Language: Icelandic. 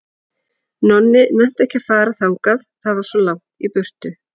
Nonni nennti ekki að fara þangað, það var svo langt í burtu.